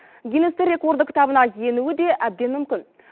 гиннестің рекорды кітабына енуі де әбден мүмкін